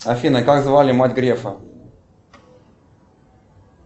афина как звали мать грефа